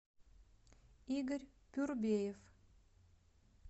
игорь пюрбеев